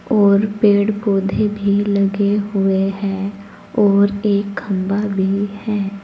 और पेड़ पौधे भी लगे हुए हैं और एक खंभा भी है।